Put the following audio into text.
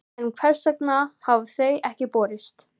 En hvers vegna hafa þau ekki borist?